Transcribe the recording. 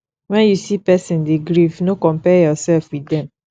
when you see person dey grief no compare yourself with dem